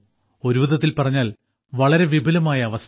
ഒരുവിധത്തിൽ പറഞ്ഞാൽ വളരെ വിപുലമായ അവസ്ഥ